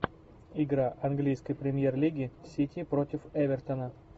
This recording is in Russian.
игра английской премьер лиги сити против эвертона